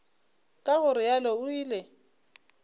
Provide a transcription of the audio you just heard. ka go realo o ile